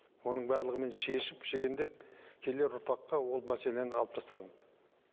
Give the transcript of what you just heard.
оның барлығын мен шешіп шегендеп келер ұрпаққа ол мәселені алып тастадым